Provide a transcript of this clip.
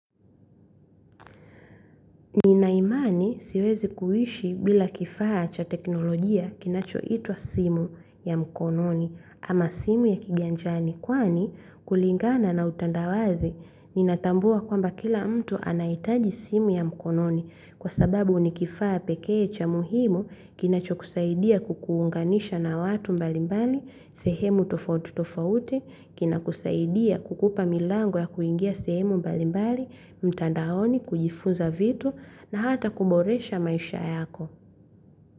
Ninaimani siwezi kuishi bila kifaa cha teknolojia kinacho itwa simu ya mkononi ama simu ya kiganjani kwani kulingana na utandawazi ninatambua kwamba kila mtu anahitaji simu ya mkononi kwa sababu nikifaa pekee cha muhimu kinacho kusaidia kukuunganisha na watu mbalimbali sehemu tofautu tofauti kina kusaidia kukupa milango ya kuingia sehemu mbali mbali mtandaoni kujifunza vitu na hata kuboresha maisha yako.